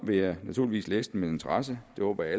vil jeg naturligvis læse den med interesse det håber jeg